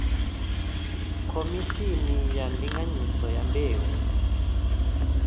khomishini ya ndinganyiso ya mbeu